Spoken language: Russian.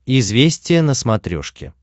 известия на смотрешке